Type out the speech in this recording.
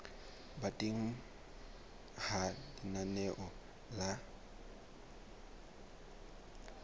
ba teng ha lenaneo la